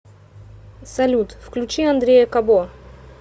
салют включи андрея кабо